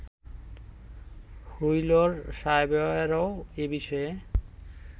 wheeler সাহেবেরও এ বিষয়ে